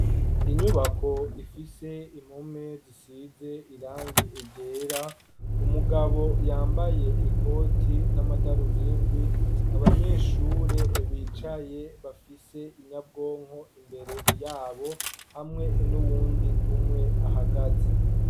Inyubako ifise impome zisize irangi ryera, umugabo yambaye ikoti n'amadarubindi abanyeshure bicaye bafise inyabwonko imbere yabo hamwe n'uwundi umwe ahagaze.